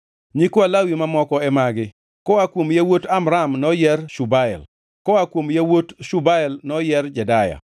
Nyikwa Lawi mamoko e magi: Koa kuom yawuot Amram noyier Shubael; koa kuom yawuot Shubael noyier Jedeya.